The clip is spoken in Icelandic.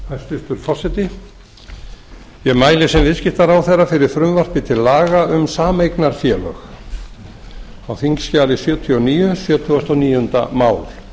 hæstvirtur forseti ég mæli sem viðskiptaráðherra fyrir frumvarpi til laga um sameignarfélög á þingskj sjötíu og níu sjötíu og níu mál